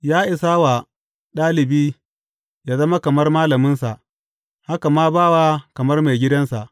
Ya isa wa ɗalibi yă zama kamar malaminsa, haka ma bawa kamar maigidansa.